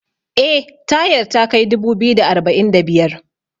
eh tayar takai dubu biyu da arba'in da biyar